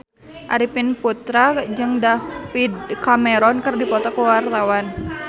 Arifin Putra jeung David Cameron keur dipoto ku wartawan